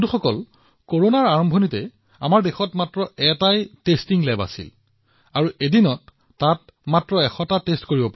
বন্ধুসকল কৰোনাৰ আৰম্ভণিতে দেশত মাত্ৰ এটা পৰীক্ষাগাৰ আছিল কিন্তু আজি ২৫০০ ৰো অধিক পৰীক্ষাগাৰে কাম কৰি আছে